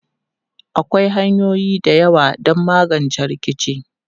Akwai hanyoyi da yawa don magance rikici.